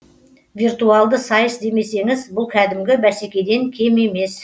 виртуалды сайыс демесеңіз бұл кәдімгі бәсекеден кем емес